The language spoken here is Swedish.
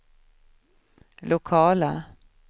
lokala